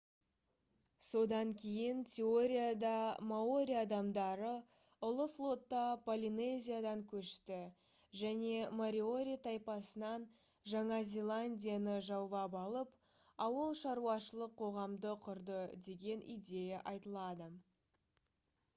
содан кейін теорияда маори адамдары ұлы флотта полинезиядан көшті және мориори тайпасынан жаңа зеландияны жаулап алып ауылшаруашылық қоғамды құрды деген идея айтылады